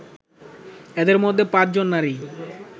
এদের মধ্যে পাঁচজন নারী